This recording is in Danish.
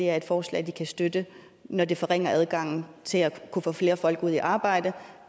er et forslag de kan støtte når det forringer adgangen til at kunne få flere folk ud i arbejde